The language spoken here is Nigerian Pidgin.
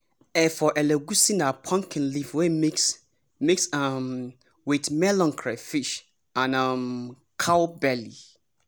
efo elegusi na pumpkin leaf wey mix mix um with melon crayfish and um cow belly.